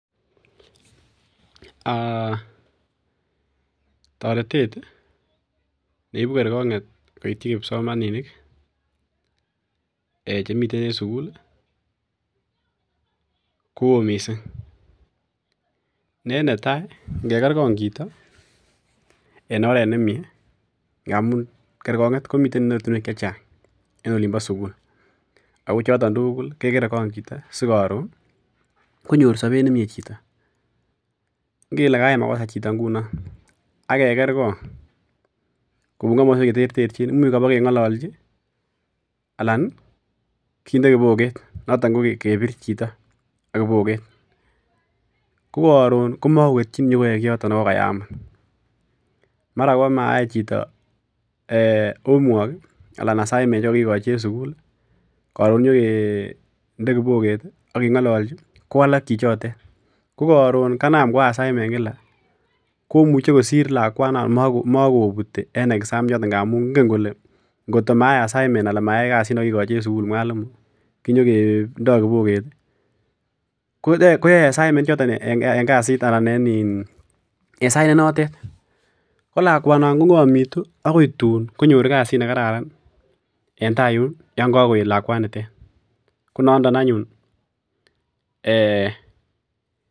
Aa toretet neibu kerkonget koityi kipsomaninik ee chemiten en sukul ii ko oo missing' ne netai ingekerkong chito en oret nemie ngamun kerkonget komiten en ortinwek chechang en olimbo sukul ,ako choton tuguk kekerekong chito sikoron konyor sobet nemie ingele kayai makosa chito ak kekerkong en komoswek chetertechin imuch kobokengololji alan kinde kiboket noton ko kebir chito ak kiboket, ko koron komokoketchin nyokoyoi kiyoton nekokayai omut, mara komayai chito home work ii alan assignments nekokikoi en sugul ii koron inyokinde kiboket ii ak kengololji kowalak chichotet, ko koron kanam koyai assignments kila komuche kosir lakwanoton ako mokobuti en exam ichoton amun inge kole ngot komayai assignments alan mayai kasit nekokikoi en sukul mwalimu konyokindo ii , koyoe assignments ichoton en sait nenotet ko lakwanon kongomitu akoi tun konyor kasit nekararan en tai yun yongokoet lakwanitetkonondo anyun ee.